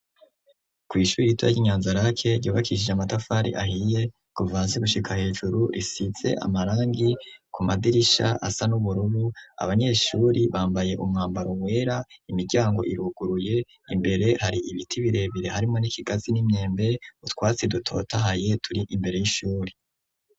Kw'ishuri ritoya ryi Nyanzarake ryubakishije amatafari ahiye kuva hasi gushika hejuru, risize amarangi ku madirisha asa n'ubururu, abanyeshure bambaye umwambaro wera, imiryango iruguruye, imbere hari ibiti birebere harimo n'ikigazi n'imyembe, utwasi dutotahaye turi imbere y'ishuri.